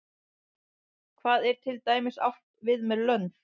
hvað er til dæmis átt við með lönd